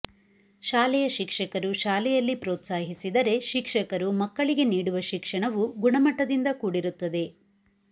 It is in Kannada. ಶಾಲೆಯ ಶಿಕ್ಷಕರು ಶಾಲೆಯಲ್ಲಿ ಪ್ರೌತ್ಸಾಹಿಸಿದರೆ ಶಿಕ್ಷಕರು ಮಕ್ಕಳಿಗೆ ನೀಡುವ ಶಿಕ್ಷಣವು ಗುಣಮಟ್ಟದಿಂದ ಕೂಡಿರುತ್ತದೆ